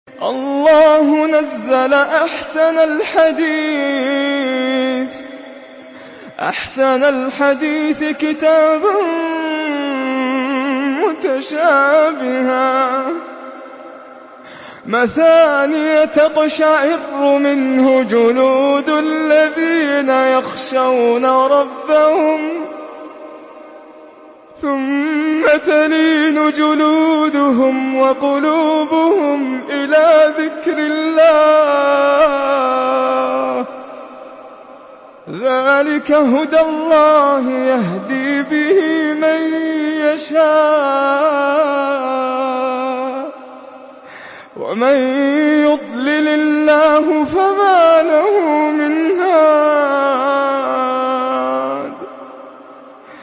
اللَّهُ نَزَّلَ أَحْسَنَ الْحَدِيثِ كِتَابًا مُّتَشَابِهًا مَّثَانِيَ تَقْشَعِرُّ مِنْهُ جُلُودُ الَّذِينَ يَخْشَوْنَ رَبَّهُمْ ثُمَّ تَلِينُ جُلُودُهُمْ وَقُلُوبُهُمْ إِلَىٰ ذِكْرِ اللَّهِ ۚ ذَٰلِكَ هُدَى اللَّهِ يَهْدِي بِهِ مَن يَشَاءُ ۚ وَمَن يُضْلِلِ اللَّهُ فَمَا لَهُ مِنْ هَادٍ